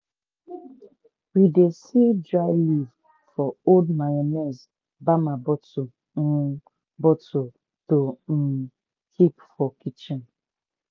we dey seal dry leaf for old mayonnaise ( bamma bottle um )bottle to um keep for kitchen.